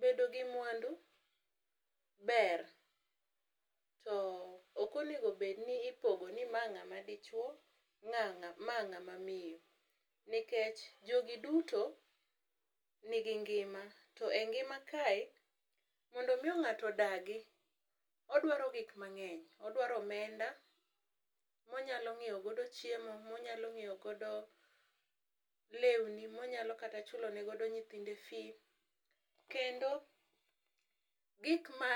Bedo gi mwandu ber to okonego bed ni ipogo ni ma ng'ama dichuo ma ng'ama miyo, nikech jogi duto nigi ngima to engima kae mondo miyo ng'ato odagi, odwaro gik mang'eny odwaro omenda monyalo nyiewo godo chiemo ,monyalo nyiewo godo lewni ,monyalo kata chulo ne godo nyithindo fee , kendo gik ma